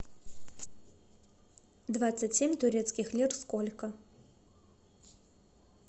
двадцать семь турецких лир сколько